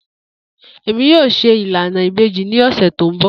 Emi yoo ṣe ilana ibeji ni ọsẹ to nbọ.